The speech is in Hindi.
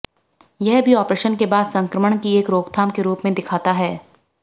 यह भी आपरेशन के बाद संक्रमण की एक रोकथाम के रूप में दिखाता है